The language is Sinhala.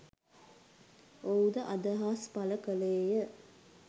ඔහුද අදහස් පළ කළේය.